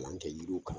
Kalan kɛ yiriw kan